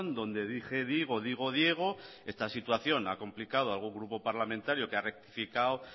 donde dije digo digo diego esta situación la ha complicado a algún grupo parlamentario que ha rectificado